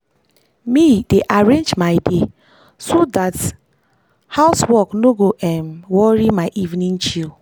me dey arrange my day so dat house work no go worry um my evening chill.